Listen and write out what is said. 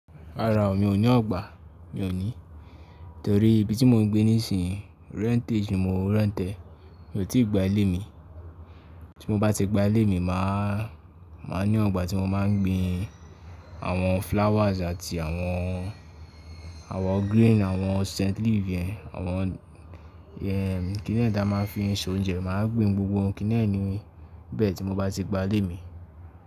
Rárá o, mi ò ní ọgbà. Mi ò ní, torí ibi tí mò ń gbé nísìnyí rentage ni mi ò rent ẹ́. Mi ò tí gba ilé mi. Tí mo bá ti gba ilé mi, máa, máa ní ọgbà tí mo máa ń gbin àwọn flowers àti àwọn, àwọn green, àwọn scent leaf ẹ, àwọn ẹ́ kínní ẹ́ dá máa ń fi ń ṣe oúnjẹ. M á gbin gbogbo ohun kínní ẹ́ níbẹ̀ tí mo bá ti gba ilé mi.